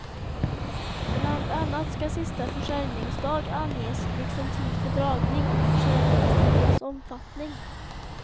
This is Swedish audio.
Bland annat skall sista försäljningsdag anges liksom tid för dragning och försäljningstidens omfattning.